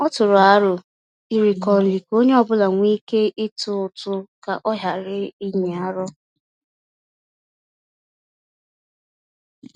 Ọ tụrụ arọ iriko nri ka onye ọbula nwe ike ịtụ ụtụ ka ọ ghara inyi arụ